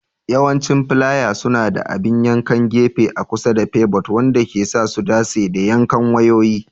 Yawancin filaya suna da abin yankan gefe a kusa da pivot, wanda ke sa su dace da yankan wayoyi.